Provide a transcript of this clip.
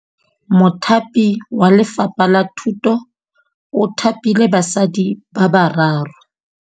Mothapi wa Lefapha la Thutô o thapile basadi ba ba raro.